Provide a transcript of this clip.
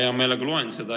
Hea meelega loen seda.